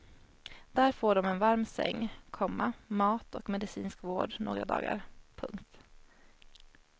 Där får de en varm säng, komma mat och medicinsk vård några dagar. punkt